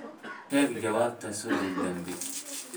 sheeg jawaabta soddon dembi